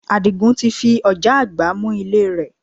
Àdìgún ti fi ọ̀já àgbá mú ilé rẹ̀